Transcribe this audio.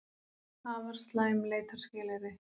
Afar slæm leitarskilyrði